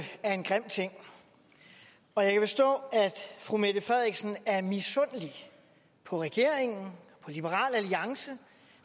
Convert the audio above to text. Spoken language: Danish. er en grim ting og jeg kan forstå at fru mette frederiksen er misundelig på regeringen og liberal alliance